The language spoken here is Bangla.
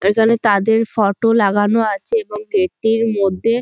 এখানে তাদের ফটো লাগানো আছে এবং গেট - টির মধ্যে--